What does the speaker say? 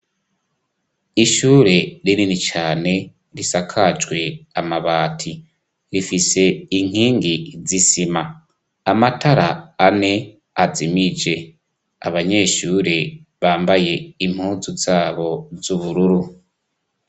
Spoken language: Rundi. Ishure rinini cane risakajwe amabati rifise inkingi z'isima amatara ane azimije abanyeshure bambaye impuzu zabo z'ubururu.